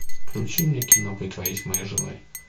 включи мне кино притворись моей женой